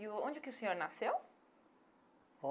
E o onde que o senhor nasceu?